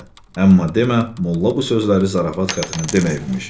Amma demə, molla bu sözləri zarafat xəttinə deməyibmiş.